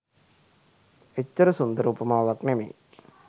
එච්චර සුන්දර උපමාවක් නෙමෙයි.